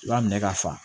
I b'a minɛ ka fa